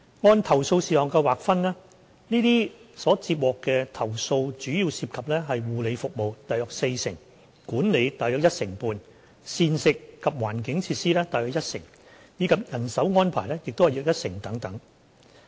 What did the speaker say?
按投訴事項劃分，上述所接獲的投訴主要涉及護理服務、管理、膳食及環境設施，以及人手安排等。